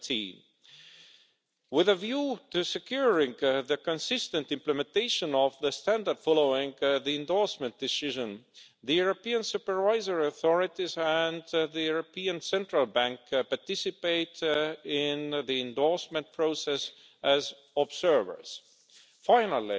17. With a view to securing the consistent implementation of the standard following the endorsement decision, the European supervisory authorities and the European Central Bank participate in the endorsement process as observers. Finally,